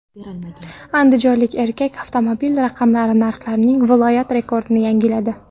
Andijonlik erkak avtomobil raqamlari narxlarining viloyat rekordini yangiladi.